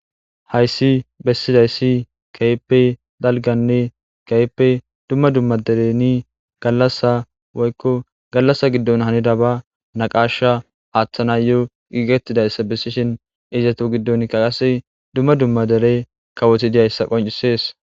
Hayssi besizayssi kehippe dalganne kehippe dumma dumma galasa woykko galasa giddon hanifsba naqasha aththanayo gigetidayssa besanaw gigetidayssa dumma dumma derese kawotti dizayssa qonccises.